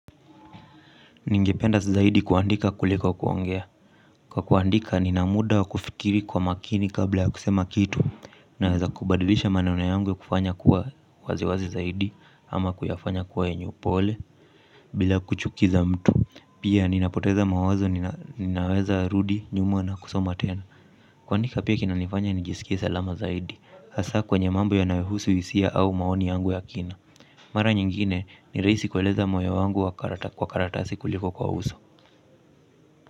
Ningependa zaidi kuandika kuliko kuongea. Kwa kuandika, nina muda wa kufikiri kwa makini kabla ya kusema kitu, naweza kubadilisha maneno yangu ya kufanya kuwa waziwazi zaidi, ama kuyafanya kuwa yenye upole, bila kuchukiza mtu. Pia, ninapoteza mawazo, ninaweza rudi, nyuma na kusoma tena. Kuandika pia kinanifanya, nijisikie salama zaidi. Hasa kwenye mambo yanayohusu hisia au maoni yangu ya kina. Mara nyingine, ni rahisi kueleza moyo wangu kwa karatasi kuliko kwa uso.